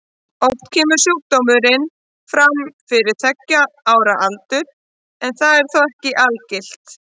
Oft kemur sjúkdómurinn fram fyrir tveggja ára aldur en það er þó ekki algilt.